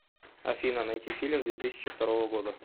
афина найти фильм две тысячи второго года